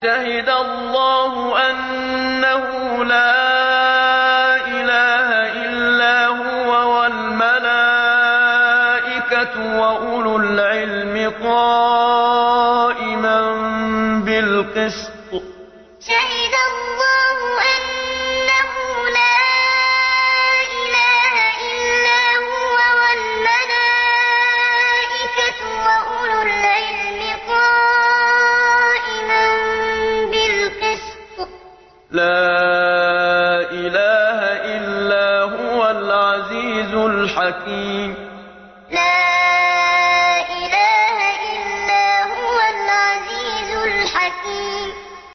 شَهِدَ اللَّهُ أَنَّهُ لَا إِلَٰهَ إِلَّا هُوَ وَالْمَلَائِكَةُ وَأُولُو الْعِلْمِ قَائِمًا بِالْقِسْطِ ۚ لَا إِلَٰهَ إِلَّا هُوَ الْعَزِيزُ الْحَكِيمُ شَهِدَ اللَّهُ أَنَّهُ لَا إِلَٰهَ إِلَّا هُوَ وَالْمَلَائِكَةُ وَأُولُو الْعِلْمِ قَائِمًا بِالْقِسْطِ ۚ لَا إِلَٰهَ إِلَّا هُوَ الْعَزِيزُ الْحَكِيمُ